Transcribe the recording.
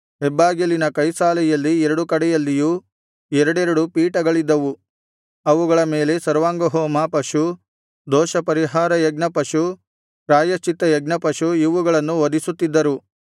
ಹೆಬ್ಬಾಗಿಲಿನ ಕೈಸಾಲೆಯಲ್ಲಿ ಎರಡು ಕಡೆಯಲ್ಲಿಯೂ ಎರಡೆರಡು ಪೀಠಗಳಿದ್ದವು ಅವುಗಳ ಮೇಲೆ ಸರ್ವಾಂಗಹೋಮ ಪಶು ದೋಷಪರಿಹಾರಕ ಯಜ್ಞ ಪಶು ಪ್ರಾಯಶ್ಚಿತ್ತಯಜ್ಞ ಪಶು ಇವುಗಳನ್ನು ವಧಿಸುತ್ತಿದ್ದರು